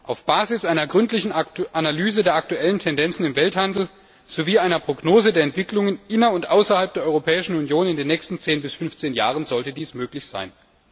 Auf Basis einer gründlichen Analyse der aktuellen Tendenzen im Welthandel sowie einer Prognose der Entwicklungen inner und außerhalb der Europäischen Union in den nächsten 10 bis 15 Jahren sollte dies möglich sein.